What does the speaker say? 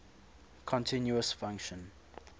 continuous function